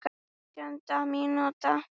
Átjánda mínúta.